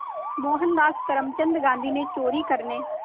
मोहनदास करमचंद गांधी ने चोरी करने